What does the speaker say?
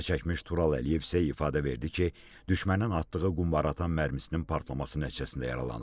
Zərər çəkmiş Tural Əliyev isə ifadə verdi ki, düşmənin atdığı qumbaraatan mərmisinin partlaması nəticəsində yaralanıb.